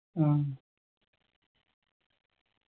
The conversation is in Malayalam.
ഉം